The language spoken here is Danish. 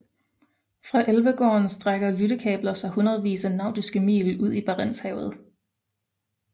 Fra Elvegården strækker lyttekabler sig hundredvis af nautiske mil ud i Barentshavet